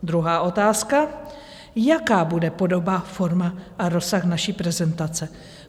Druhá otázka: Jaká bude podoba, forma a rozsah naší prezentace?